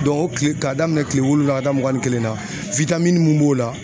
o tile k'a daminɛn kile wolonwula ka taa mugan ni kelen na mun b'o la